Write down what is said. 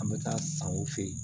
An bɛ taa san o fɛ yen